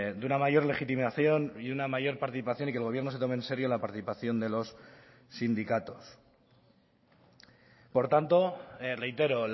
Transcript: de una mayor legitimación y una mayor participación y que el gobierno se tome en serio la participación de los sindicatos por tanto reitero